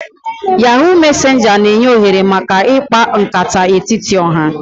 Yahoo mesenja n'enye ohere maka ikpa nkata n'etiti oha